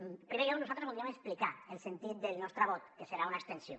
en primer lloc nosaltres voldríem explicar el sentit del nostre vot que serà una abstenció